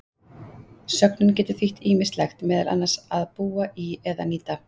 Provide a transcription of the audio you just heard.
Sögnin getur þýtt ýmislegt, meðal annars að búa í eða nýta.